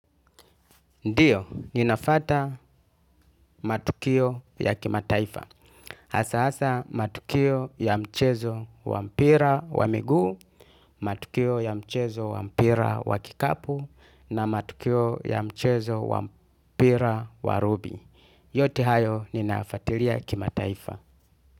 Ndiyo, ninafuata matukio ya kimataifa. Hsa hasa matukio ya mchezo wa mpira wa migu, matukio ya mchezo wa mpira wa kikapu, na matukio ya mchezo wa mpira wa rubi. Yote hayo ninafuatilia kimataifa.